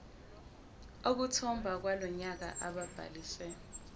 okthobha walonyaka ababhalise